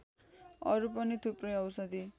अरू पनि थुप्रै औषधि